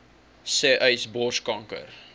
sê uys borskanker